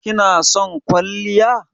Ki na son kwalliya?